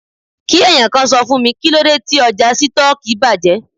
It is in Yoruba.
Kí ẹ̀yàn kan sọ fún mi, kíló dé tí ọjà Sítọ́ọ́kì bàjẹ́?